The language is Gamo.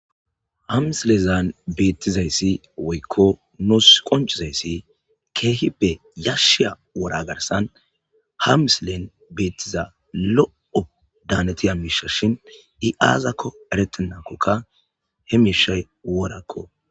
hamisilezan beettizayssi woykko nuus qoncizayssi keehi be yashsheya wora garsan ha misilen beettiza lo7o daanetiya miisha shin i7aazakko eretennakoka he miishay worakko